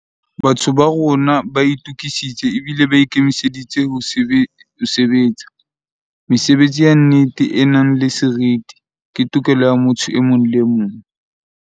Batho ba rona ba itukisitse ebile ba ikemiseditse ho sebe tsa. Mesebetsi ya nnete, e nang le seriti, ke tokelo ya motho e mong le emong.